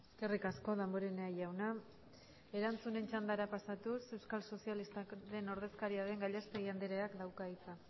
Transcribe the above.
eskerrik asko damborenea jauna erantzunen txandara pasatuz euskal sozialistak taldearen ordezkaria den gallastegui andereak dauka hitza